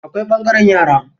Akwai ɓangaren yara.